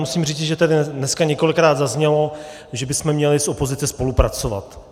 Musím říci, že tady dneska několikrát zaznělo, že bychom měli z opozice spolupracovat.